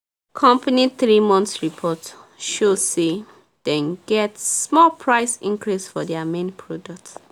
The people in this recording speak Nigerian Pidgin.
company three month report show say dem get small price increase for their main product